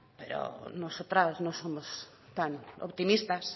pero nosotras no somos tan optimistas